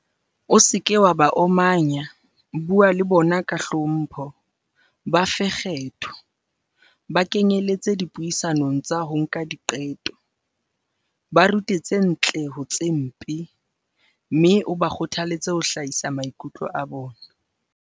O seke wa ba omanya, bua le bona ka hlompho, ba fe kgetho, ba kenyeletse dipuisanong tsa ho nka diqeto, ba rute tse ntle ho tse mpe, mme o ba kgothaletse ho hlahisa maikutlo a bona.